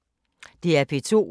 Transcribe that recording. DR P2